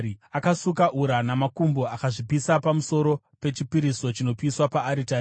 Akasuka ura namakumbo akazvipisa pamusoro pechipiriso chinopiswa paaritari.